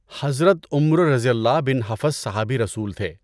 حضرت ابو عمروؓ بن حفص صحابیِ رسول تھے۔